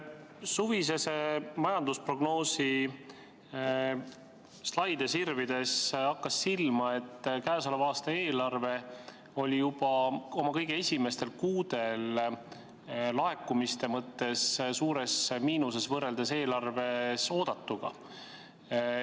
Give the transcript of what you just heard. Suvise majandusprognoosi slaide sirvides hakkas silma, et käesoleva aasta eelarve oli juba oma kõige esimestel kuudel laekumiste mõttes suures miinuses võrreldes eelarves oodatuga.